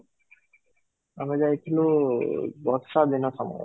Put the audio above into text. ଆମେ ଯାଇଥିଲୁ ବର୍ଷା ଦିନ ସମୟରେ